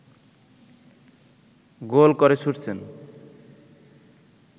গোল করে ছুটছেন